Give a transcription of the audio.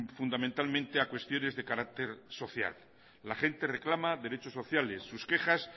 fundamentalmente a cuestiones de carácter social la gente reclama derecho sociales sus quejas